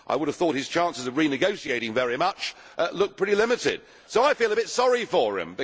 I would have thought his chances of renegotiating very much look pretty limited, so I feel a bit sorry for him.